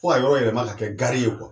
Fo ka yɔrɔ yɛlɛma ka kɛ ye